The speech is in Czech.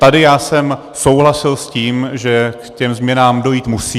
Tady já jsem souhlasil s tím, že k těm změnám dojít musí.